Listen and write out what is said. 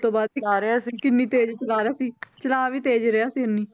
ਤੋਂ ਬਾਅਦ ਉਤਾਰਿਆ ਸੀ ਕਿੰਨੀ ਤੇਜ ਚਲਾ ਰਿਹਾ ਸੀ ਚਲਾ ਵੀ ਤੇਜ ਰਿਹਾ ਸੀ ਇੰਨੀ